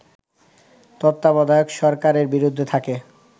তত্ত্বাবধায়ক সরকারের বিরুদ্ধে থাকে